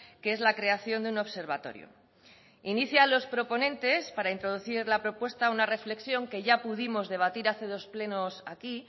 que es la creación de un observatorio inicia a los proponentes para introducir la propuesta una reflexión que ya pudimos debatir hace dos plenos aquí